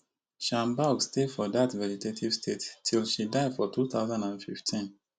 shanbaug stay for dat vegetative state till she die for two thousand and fifteen